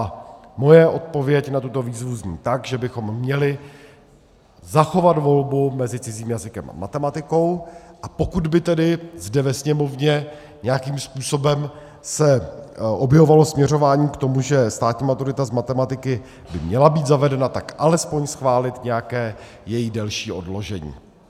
A moje odpověď na tuto výzvu zní: tak, že bychom měli zachovat volbu mezi cizím jazykem a matematikou, a pokud by tedy zde ve Sněmovně nějakým způsobem se objevovalo směřování k tomu, že státní maturita z matematiky by měla být zavedena, tak alespoň schválit nějaké její delší odložení.